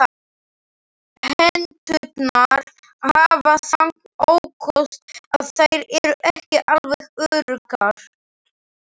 Hetturnar hafa þann ókost að þær eru ekki alveg öruggar.